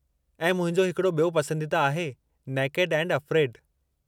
ऐं मुंहिंजो हिकड़ो ॿियो पसंदीदा आहे नेकेड एंड अफ्रेड।